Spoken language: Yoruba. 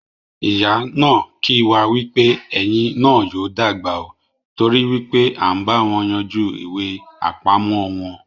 Ìyá náà kì wá wípé "Ẹ́ yín náà yóò dàgbà óò" t'ori wípé à ń báwọn yanjú ìwé apamo wọn.